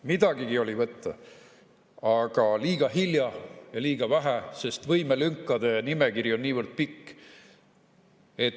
Midagigi oli võtta, aga liiga hilja ja liiga vähe, sest võimelünkade nimekiri on niivõrd pikk.